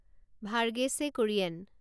Verghese Kurien